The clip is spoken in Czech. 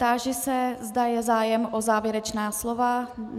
Táži se, zda je zájem o závěrečná slova.